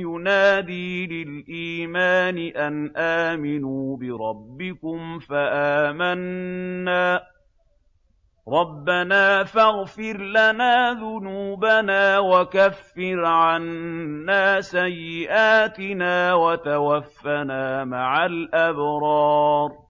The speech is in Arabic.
يُنَادِي لِلْإِيمَانِ أَنْ آمِنُوا بِرَبِّكُمْ فَآمَنَّا ۚ رَبَّنَا فَاغْفِرْ لَنَا ذُنُوبَنَا وَكَفِّرْ عَنَّا سَيِّئَاتِنَا وَتَوَفَّنَا مَعَ الْأَبْرَارِ